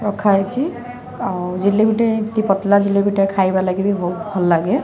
ରଖାହେଇଛି ଆଉ ଜଳେବି ଟେ ପତଲା ଜାଲେବି ଟି ଖାଇବା ଲାଗି ବି ବହୁତ୍ ଭଲଲାଗେ।